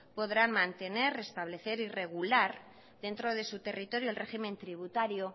podrán mantener restablecer y regular dentro de su territorio el régimen tributario